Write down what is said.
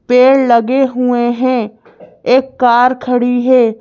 पेड़ लगे हुए हैं एक कार खड़ी है।